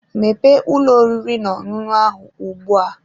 Mepee ụlọ oriri n'ọṅụṅụ ahụ ugbu a!